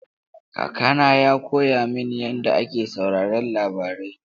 Kakana ya koya mini yadda ake sauraron labarai..